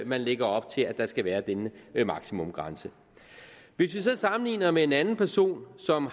man lægger op til at der skal være denne maksimumgrænse sammenligner vi med en anden person som